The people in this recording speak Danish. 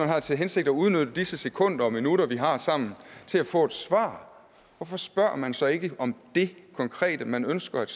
har til hensigt at udnytte disse sekunder og minutter vi har sammen til at få et svar hvorfor spørger man så ikke om det konkrete man ønsker et